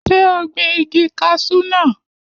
Ṣé o gbin igi kaṣú naa